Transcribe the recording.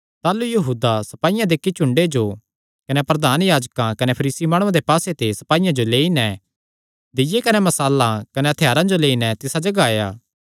ताह़लू यहूदा सपाईयां दे इक्की झुंडे जो कने प्रधान याजकां कने फरीसी माणुआं दे पास्से ते सपाईयां जो लेई नैं दीय्ये कने मशालां कने हत्थयारां जो लेई नैं तिसा जगाह आया